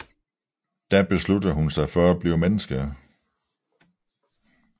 Da besluttede hun sig for at blive menneske